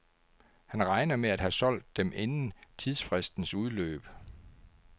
Han regner med at have solgt dem inden tidsfristens udløb.